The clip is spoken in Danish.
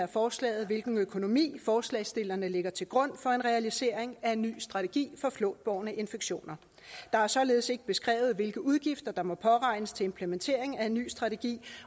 forslaget hvilken økonomi forslagsstillerne lægger til grund for en realisering af en ny strategi for flåtbårne infektioner der er således ikke beskrevet hvilke udgifter der må påregnes til implementering af en ny strategi